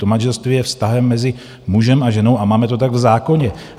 To manželství je vztahem mezi mužem a ženou a máme to tak v zákoně.